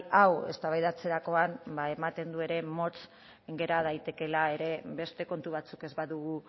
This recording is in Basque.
hau eztabaidatzerakoan ematen du ere motz gera daitekeela ere beste kontu batzuk ez badugu